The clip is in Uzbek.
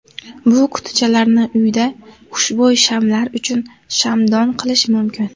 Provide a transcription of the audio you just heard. Bu qutichalarni uyda xushbo‘y shamlar uchun shamdon qilish mumkin.